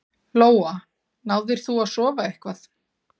Lóa: Náðir þú að sofa eitthvað?